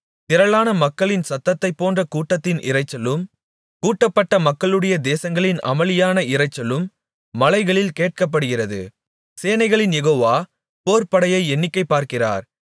திரளான மக்களின் சத்தத்தைப்போன்ற கூட்டத்தின் இரைச்சலும் கூட்டப்பட்ட மக்களுடைய தேசங்களின் அமளியான இரைச்சலும் மலைகளில் கேட்கப்படுகிறது சேனைகளின் யெகோவா போர்ப் படையை எண்ணிக்கை பார்க்கிறார்